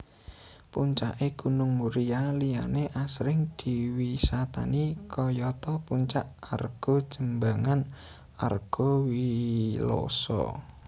Puncake Gunung Muria liyane asring diwisatani kayata Puncak Argojembangan Argowiloso